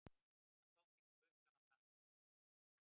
Hann tók ekki puttann af hnappinum